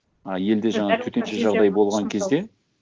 а елде жаңағы төтенше жағдай болған кезде